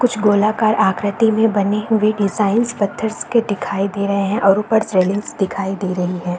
कुछ गोलाकार आकृति में बनी हुई डिज़ाइन्स पत्थरस् के दिखाई दे रहे हैं और ऊपर रेलिंग्स दिखाई दे रही हैं।